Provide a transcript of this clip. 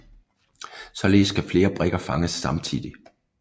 Således kan flere brikker fanges samtidig